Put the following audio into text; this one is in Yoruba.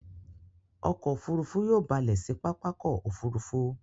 Ọkọ̀ òfurufú yóò ba lẹ̀ sí pápákọ̀ òfurufú.